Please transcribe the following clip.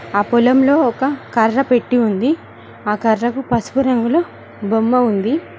ఆ పొలంలో ఒక కర్ర పెట్టి ఉంది ఆ కర్రకు పసుపు రంగులో బొమ్మ ఉంది.